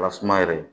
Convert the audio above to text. Lasumaya yɛrɛ